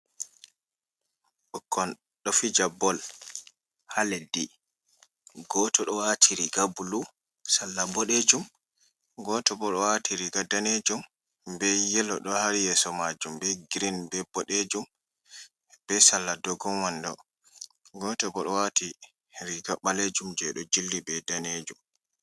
Ɓukkon ɗo Fija bol ha leddi. Gooto ɗo wati riga bulu Salla ɓoɗejum. Gooto bo ɗo wati riga danejum be yelo ɗo ha yeso majum be giriin be boɗejum be Salla dogon wondo. Gooto bo ɗo wati riga ɓalejum je ɗo jilli be danejum.